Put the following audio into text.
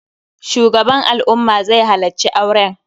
Shugaban al'umma zai halacci auren